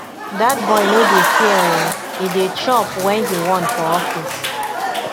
dat boy no dey fear oo e dey chop wen he want for office